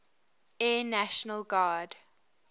air national guard